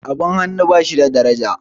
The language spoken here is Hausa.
abin hannu ba shi da daraja